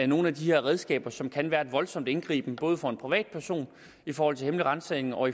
nogle af de her redskaber som kan være en voldsom indgriben både for en privat person i forhold til hemmelig ransagning og